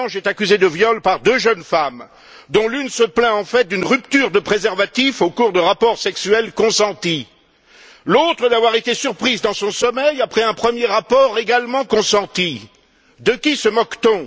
Assange est accusé de viol par deux jeunes femmes, dont l'une se plaint en fait d'une rupture de préservatif au cours de rapports sexuels consentis, l'autre d'avoir été surprise dans son sommeil après un premier rapport également consenti. De qui se moque t on?